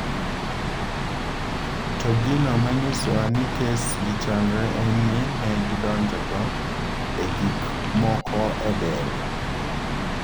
"To gino manyisowa ni kes gi chalre en ni ne gidonjonjo e gik moko e del."""